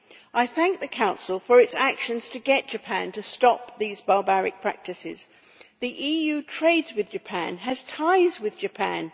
I thank the Council for its actions to get Japan to stop these barbaric practices. The EU trades with Japan and has ties with Japan.